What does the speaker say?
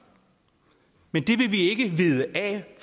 men det vil vi ikke vide af